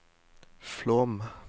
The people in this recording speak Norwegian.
Flåm